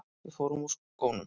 Við förum úr skónum.